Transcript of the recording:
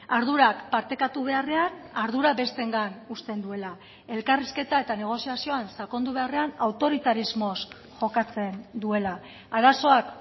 ardurak partekatu beharrean ardura besteengan uzten duela elkarrizketa eta negoziazioan sakondu beharrean autoritarismoz jokatzen duela arazoak